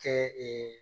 Kɛ ee